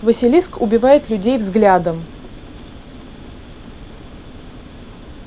василиск убивает людей взглядом